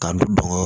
K'an bɔngɔ